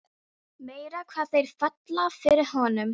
Þeir höfðu verið vinir frá því innan við tvítugt.